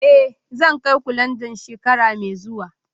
Eh, zan kai ku Landan shekara mai zuwa